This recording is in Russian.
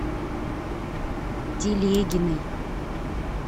телегиной